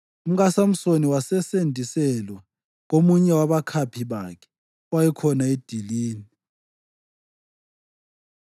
UmkaSamsoni wasesendiselwa komunye wabakhaphi bakhe owayekhona edilini.